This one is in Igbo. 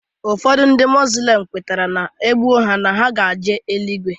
Ụfọdụ ndị muzlim kwetere na e gbuo ha na ha ga-eje eluigwe